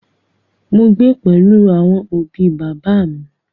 Mo gbé pẹ̀lú àwọn òbi bàbá à mi.